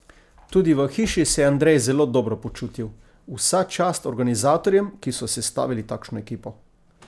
Tudi v hiši se je Andrej zelo dobro počutil: "Vsa čast organizatorjem, ki so sestavili takšno ekipo.